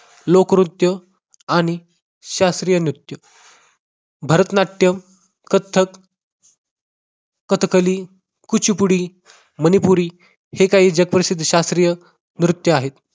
लोकनृत्य आणि शास्त्रीय नृत्य भरतनाट्यम, कथ्थक, कथकली, कुचीपुडी, मनिपुरी हे काही जगप्रसिद्ध शास्त्रीय नृत्य आहेत.